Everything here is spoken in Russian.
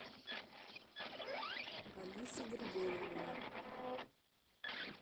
алисы григорьевны